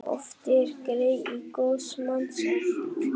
Oft er grey í góðs manns ætt.